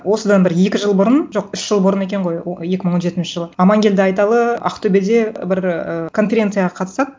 осыдан бір екі жыл бұрын жоқ үш жыл бұрын екен ғой екі мың он жетінші жылы аманкелді айталы ақтөбеде бір ы конференцияға қатысады